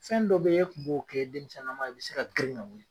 Fɛn dɔ be ye e tun b'o kɛ i denmisɛnninnama i bɛ se ka girin ka wili